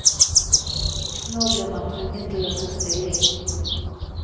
Nå ble man tvunget til å ta stilling.